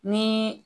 Ni